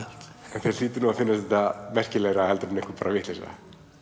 þér hlýtur að finnast þetta merkilegra en einhver vitleysa